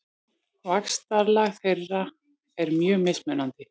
Vaxtarlag þeirra er mjög mismunandi.